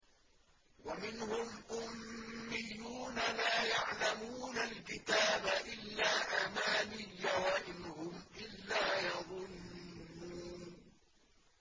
وَمِنْهُمْ أُمِّيُّونَ لَا يَعْلَمُونَ الْكِتَابَ إِلَّا أَمَانِيَّ وَإِنْ هُمْ إِلَّا يَظُنُّونَ